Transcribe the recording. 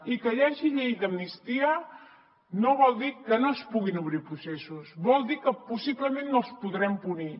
i que hi hagi llei d’amnistia no vol dir que no es puguin obrir processos vol dir que possiblement no els podrem punir